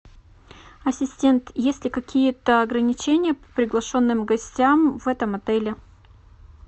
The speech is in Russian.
ассистент есть ли какие то ограничения по приглашенным гостям в этом отеле